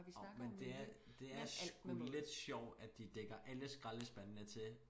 Jo men det er det er sgu lidt sjovt at de dækker alle skraldespandene til